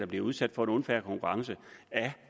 bliver udsat for unfair konkurrence af